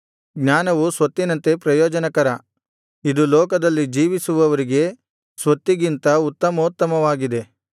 ಜ್ಞಾನವು ಸ್ವತ್ತಿನಂತೆ ಪ್ರಯೋಜನಕರ ಇದು ಲೋಕದಲ್ಲಿ ಜೀವಿಸುವವರಿಗೆ ಸ್ವತ್ತಿಗಿಂತ ಉತ್ತಮೋತ್ತಮವಾಗಿದೆ